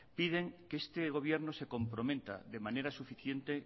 piden que este gobierno se comprometa de manera suficiente